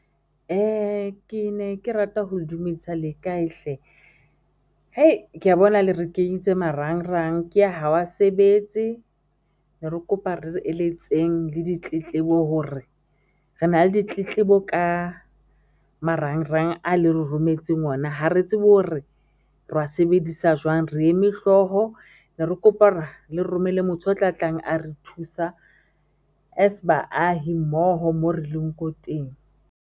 Ke ne ke rata ho dumedisa lekae hle? ke ya bona le re ke marangrang ke a ha a sebetse ne re kopa re ditletlebo hore re na le ditletlebo ka marangrang a le rometseng ona, ha re tsebe hore re wa sebedisa jwang, re eme hlooho ne re kopa le romelle motho, o tla tlang a re thusa as baahi mmoho mo re leng ko teng.